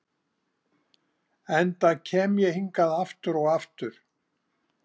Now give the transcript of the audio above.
enda kem ég hingað aftur og aftur.